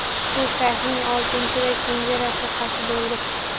U shayxning oltinchi va kenja rafiqasi bo‘ldi.